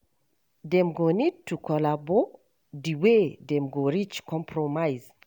Dem go need to collabo on di wey dem go reach compromise